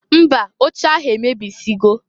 Mba! Oche ahụ emebisigo.